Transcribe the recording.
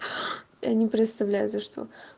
я не представляю за что